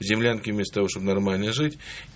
землянки вместо того чтобы нормально жить